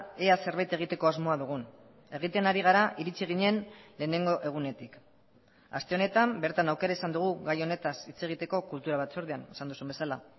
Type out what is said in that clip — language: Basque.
ea zerbait egiteko asmoa dugun egiten ari gara iritsi ginen lehenengo egunetik aste honetan bertan aukera izan dugu gai honetaz hitz egiteko kultura batzordean esan duzun bezala